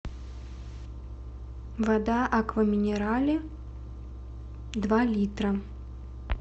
вода аква минерале два литра